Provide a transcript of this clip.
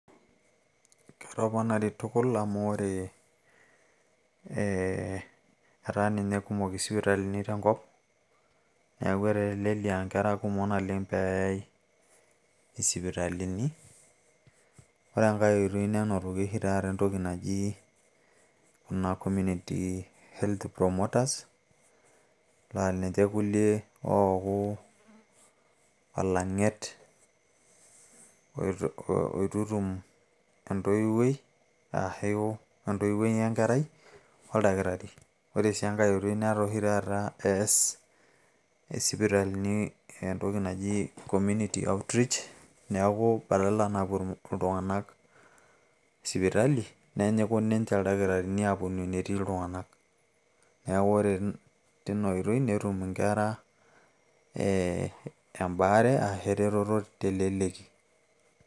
ketoponari tukul amu ore ee etaa ninye kumok isipitalini tenkop neeku etelelia inkera kumok naleng naa peeyai isipitalini ore enkay oitoi nenotoki oshi taata entoki naji kuna community health promoters laa linche kulie ooku olang'et oitutum entoiwuoi ashu entoiwuoi wenkerai oldakitari ore sii enkay oitoi netaa oshi taata ees isipitalini entoki naji community outreach neeku badala napuo iltung'anak sipitali nenyiku ninche ildakitarini aaponu enetii iltung'anak neeku ore tina oitoi netum inkera ee embaare ashu eretoto teleleki.